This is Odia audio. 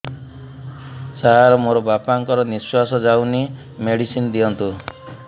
ସାର ମୋର ବାପା ଙ୍କର ନିଃଶ୍ବାସ ଯାଉନି ମେଡିସିନ ଦିଅନ୍ତୁ